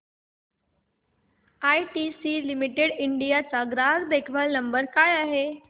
ITC limited India चा ग्राहक देखभाल नंबर काय आहे